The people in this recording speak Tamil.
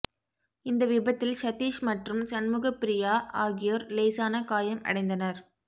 இந்த விபத்தில் சதீஷ் மற்றும் சண்முகப்பிரியா ஆகியோர் லேசான காயம் அடைந்தனர்